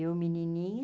Eu, menininha,